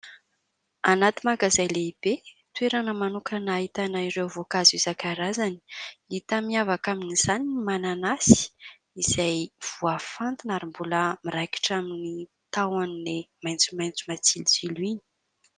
Anaty magazay lehibe, toerana manokana ahitana ireo voankazo isan-karazany. Hita miavaka amin'izany ny mananasy izay voafantina ary mbola miraikitra amin'ny tahony maitsomaitso matsilotsilo iny.